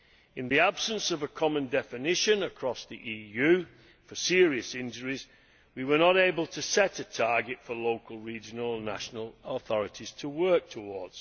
In the absence of a common definition across the EU for serious injuries, we were not able to set a target for local, regional and national authorities to work towards.